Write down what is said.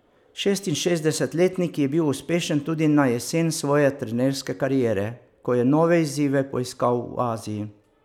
Šestinšestdesetletnik je bil uspešen tudi na jesen svoje trenerske kariere, ko je nove izzive poiskal v Aziji.